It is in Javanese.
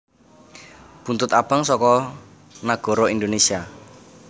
Buntut Abang saka Nagara Indonèsia